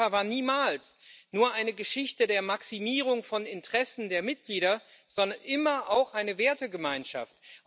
Denn Europa war niemals nur eine Geschichte der Maximierung von Interessen der Mitglieder, sondern immer auch eine Wertegemeinschaft.